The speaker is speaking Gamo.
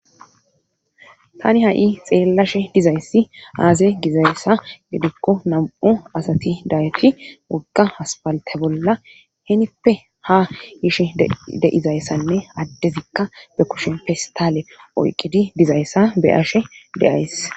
Tani ha'i xeellashe dizayssi aaze gizayssa gidikko nam'u asati dayeti wogga haspalte bolla henippe ha yishe deizayssanne addezikka be kushen festaale oyqqidi dizayssa be ashe deays.